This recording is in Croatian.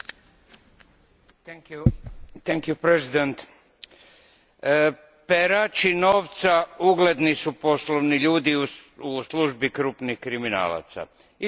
Gospođo predsjednice, perači novca ugledni su poslovni ljudi u službi krupnih kriminalaca. Ili je to obrnuto.